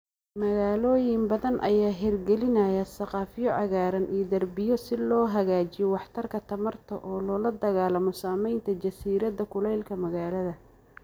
Magaalooyin badan ayaa hirgelinaya saqafyo cagaaran iyo darbiyo si loo hagaajiyo waxtarka tamarta oo loola dagaallamo saameynta jasiiradda kulaylka magaalada.